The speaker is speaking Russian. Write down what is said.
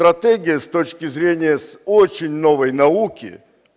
стратегия с точки зрения с очень новой науки